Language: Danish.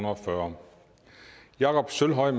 og fyrre jakob sølvhøj